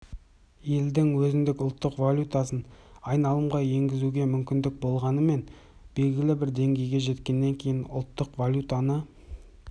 елдің өзінің ұлттық валютасын айналымға енгізуге мүмкіндігі болғанымен белгілі бір деңгейге жеткеннен кейін ұлттық валютаны